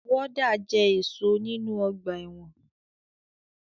Wọ́dà jẹ́ ẹ̀ṣọ́ nínu ọgbà ẹ̀wọ̀n